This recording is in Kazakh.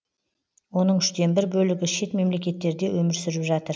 оның үштен бір бөлігі шет мемлекеттерде өмір сүріп жатыр